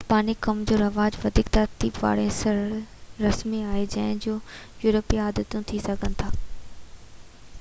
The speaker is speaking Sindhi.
جاپاني ڪم جو رواج وڌيڪ ترتيب وارو ۽ رسمي آهي جنهن جو يورپي عادي ٿي سگهن ٿا